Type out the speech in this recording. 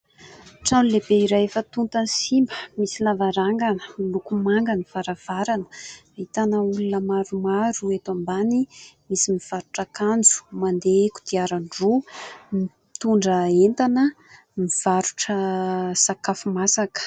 Trano lehibe iray efa tota sy simba, misy lavarangana, miloko manga ny varavarana, ahitana olona maromaro eto ambany, misy mivarotra akanjo, mandeha kodiaran-droa, mitondra entana, mivarotra sakafo masaka.